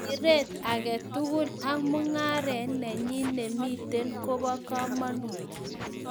Siret age tugul ak mung'aret nenyi nemitei ko bo kamanut